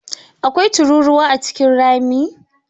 Akwai tururuwa A cikin rami?